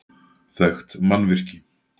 Þekkt mannvirki